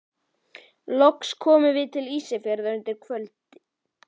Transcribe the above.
Loks komum við til Ísafjarðar undir kvöld.